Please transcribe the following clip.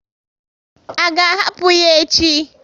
A ga ahapụ ya echi?